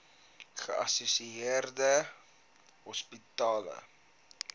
geassosieerde psigiatriese hospitale